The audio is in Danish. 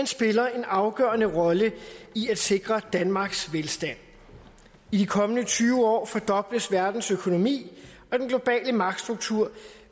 spiller en afgørende rolle i at sikre danmarks velstand i de kommende tyve år fordobles verdens økonomi og den globale magtstruktur